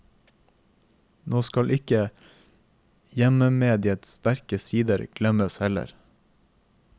Nå skal ikke hjemmemediets sterke sider glemmes heller.